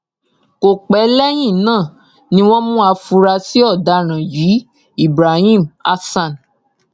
kò pẹ lẹyìn náà ni wọn mú àfúrásì ọdaràn yìí ibrahim hasan